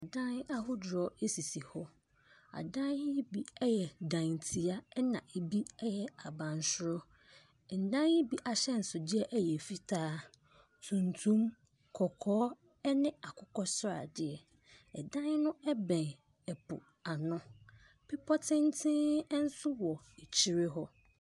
Adan ahodoɔ bi sisi hɔ. Adan yi bi yɛ dantia, ɛna ɛbi yɛ abansoro. Adan yi bi ahyɛnsodeɛ yɛ fitaa tuntum, kɔkɔɔ ne akokasradeɛ. Ɛdan no bɛn poano. Bepɔ tenten nso wɔ akyire hɔ.